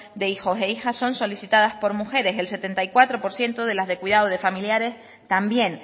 de hijos e hijas son solicitados por mujeres el setenta y cuatro por ciento de las de cuidado de familiares también